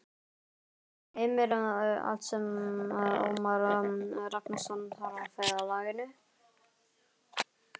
Heimir: Allt sem Ómar Ragnarsson þarf á ferðalaginu?